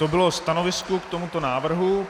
To bylo stanovisko k tomuto návrhu.